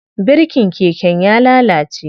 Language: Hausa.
Birikin keken ya lalace.